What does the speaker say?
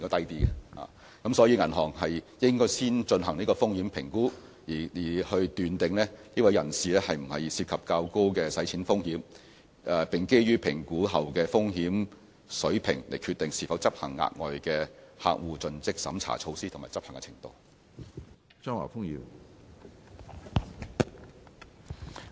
因此，銀行應先進行風險評估，確定有關人士是否涉及較高的洗錢風險，並基於評估後的風險水平決定是否執行額外的客戶盡職審查措施和執行的程度。